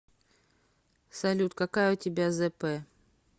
салют какая у тебя зэпэ